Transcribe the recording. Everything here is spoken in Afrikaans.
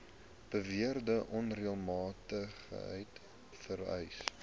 beweerde onreëlmatigheid vereis